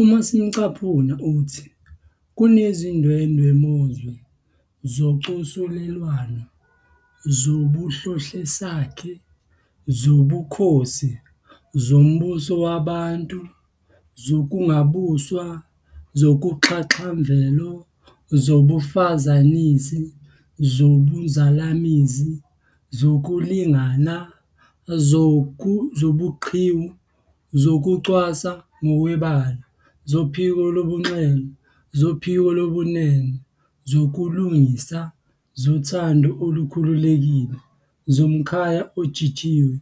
Uma simcaphuna uthi. "Kunezindwemozwe zocosulelwano, zobuhlohlesakhe, zobukhosi, zombusowabantu, zokungabuswa, zoxhaxhamvelo, zobufazanisi, zobunzalamizi, zokulingana, zobuqhiwu, zokucwasa ngokwebala, zophiko lobunxele, zophiko lobunene, zokulungisa, zothanda olukhululekile, zomkhaya ojijiwe,